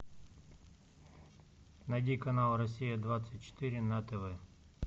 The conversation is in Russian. найди канал россия двадцать четыре на тв